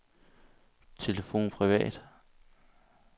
telefon privat